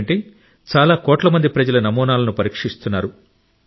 ఎందుకంటే చాలా కోట్ల మంది ప్రజల నమూనాలను పరీక్షిస్తున్నారు